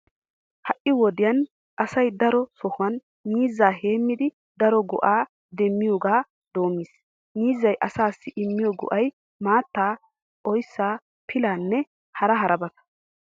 Ha"i wodiyan asay daro sohuwan miizzaa heemmidi daro go'aa demmiyogaa doommiis. Miizzay asaassi immiyo go'ay, maattaa, oyssaa, pilaanne hara harabata.